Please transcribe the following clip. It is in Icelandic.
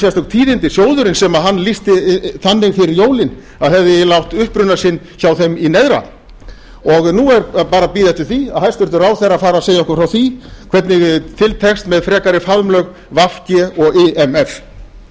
sérstök tíðindi sjóðurinn sem hann lýsti þannig fyrir jólin að hefði eiginlega átt uppruna sinn hjá þeim í neðra nú er bara að bíða eftir því að hæstvirtur ráðherra fari að segja okkur frá því hvernig til tekst með frekari faðmlög v g og imf